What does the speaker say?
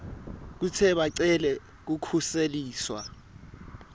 kute bacele kukhuseliswa